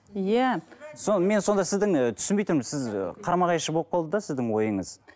иә сол мен сонда сіздің ы түсінбей тұрмын сіз қарама қайшы болып қалды да сіздің ойыңыз